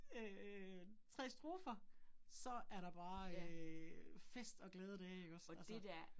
Øh 3 strofer. Så er der bare øh fest og glade dage ikke også altså